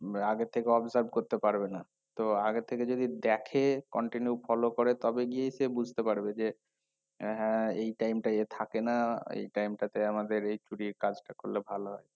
আগের থেকে observe করতে পারবে না তো আগের থেকে যদি দেখে continue follow করে তবে গিয়েই সে বুঝতে পারবে যে উম হ্যাঁ এই time টায় এ থাকে না এই time টাতে আমাদের এই চুরির কাজটা করলে ভালো